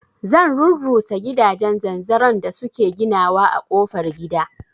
Zan rurrusa gidajen zanzaron da suke ginawa a kofar gida